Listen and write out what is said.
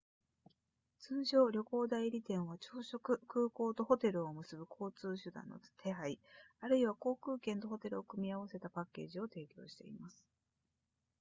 通常旅行代理店は朝食空港とホテルを結ぶ交通手段の手配あるいは航空券とホテルを組み合わせたパッケージを提供しています